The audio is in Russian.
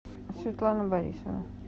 светлана борисова